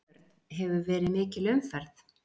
Björn: Hefur verið mikil umferð?